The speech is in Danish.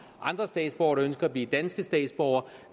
andre statsborgere der ønsker at blive danske statsborgere